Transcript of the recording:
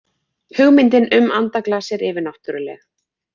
Hugmyndin um andaglas er yfirnáttúrleg.